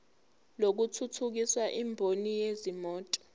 lokuthuthukisa imboni yezimoto